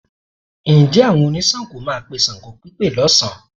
Ǹjẹ́ àwọn oníṣàngó máa pe ṣàngópípe lọ́sàn-án?